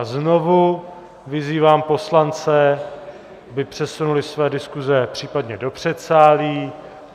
A znovu vyzývám poslance, aby přesunuli své diskuse případně do předsálí!